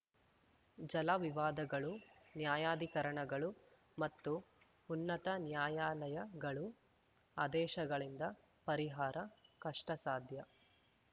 ಜಲವಿವಾದಗಳು ನ್ಯಾಯಾಧಿಕರಣಗಳು ಮತ್ತು ಉನ್ನತ ನ್ಯಾಯಾಲಯಗಳು ಆದೇಶಗಳಿಂದ ಪರಿಹಾರ ಕಷ್ಟಸಾಧ್ಯ